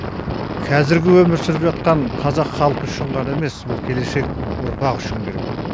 қазіргі өмір сүріп жатқан қазақ халқы үшін ғана емес бұл келешек ұрпақ үшін керек